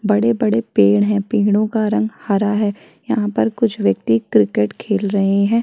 बड़े-बड़े पेड़ है पेड़ों का रंग हरा है यहाँ पर कुछ व्यक्ति क्रिकेट खेल रहे है।